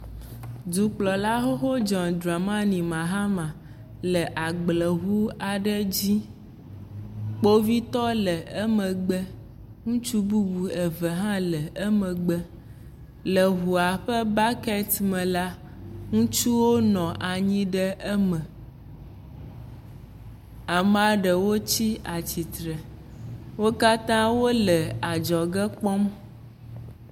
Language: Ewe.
Dukplɔla John Dramani Mahama le agble dzi ŋu xoxo aɖe dzi. Kpovitɔ le eme gbe. Ŋutsu bubu eve aɖewo ha nɔ emegbe. Le ŋua ɖe bɔkiti me la, ŋutsuwo nɔ eme. Amea ɖewo tsia tsi tre. Wo kata wole adzɔge kpɔm.